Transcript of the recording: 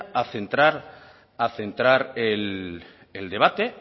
a centrar el debate